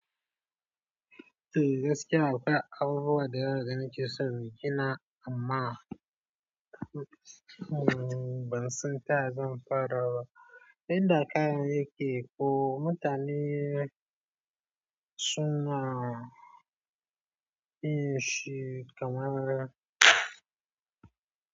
Eh gaskiya akwai abubuwa da yawa da na ke son in gina amma ban san ta ya zan fara ba, inda kayan yake ko mutane suna yin shi kamar.